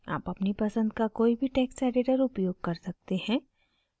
आप अपनी पसंद का कोई भी टेक्स्ट editor उपयोग कर सकते हैं